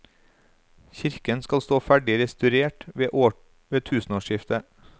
Kirken skal stå ferdig restaurert ved tusenårsskiftet.